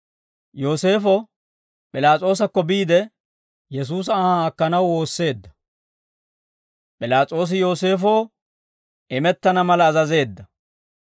Yooseefo P'ilaas'oosakko biide, Yesuusa anhaa akkanaw woosseedda; P'ilaas'oosi Yooseefoo imettana mala azazeedda.